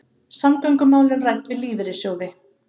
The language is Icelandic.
Samgöngumálin rædd við lífeyrissjóði